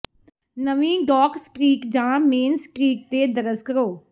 ਨਵੀਂ dock street ਜਾਂ main street ਤੇ ਦਰਜ ਕਰੋ